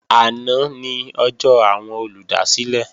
Àná ni ọjọ́ àwọn olùdásílẹ̀